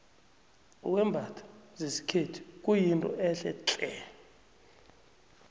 ukwembatha zesikhethu kuyinto ehle tle